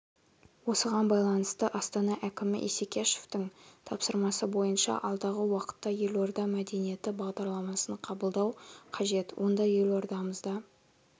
осыған байланысты астана әкімі исекешевтің тапсырмасы бойынша алдағы уақытта елорда мәдениеті бағдарламасын қабылдау қажет онда елордамызда